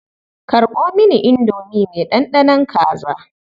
Karɓo mini indomi mai ɗanɗanon kaza.